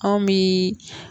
Anw bi